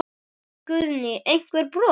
Guðný: Einhver brot?